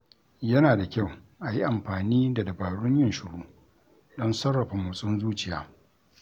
Yana da kyau a yi amfani da dabarun yin shiru, don sarrafa motsin zuciya.